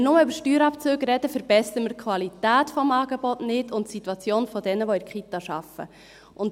Wenn wir nur über Steuerabzüge sprechen, verbessern wir die Qualität des Angebots und die Situation derer, die in den Kitas arbeiten, nicht.